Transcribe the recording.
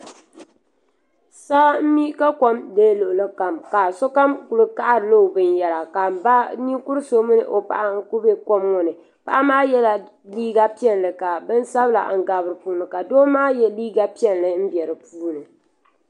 Saa m-mi ka kom deei luɣilikam sokam kuli kahirila o binyɛra ka m ba ninkur'so mini o paɣa kuli be kom ŋɔ ni paɣa maa yela liiga piɛlli ka bini sabila gabi puuni ka doo maa ye liiga piɛlli m-be di puuni.